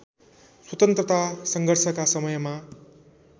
स्वतन्त्रता सङ्घर्षका समयमा